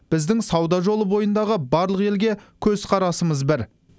біздің сауда жолы бойындағы барлық елге көзқарасымыз бір